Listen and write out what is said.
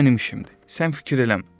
O mənim işimdir, sən fikir eləmə.